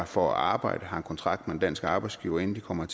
for at arbejde har en kontrakt med en dansk arbejdsgiver inden de kommer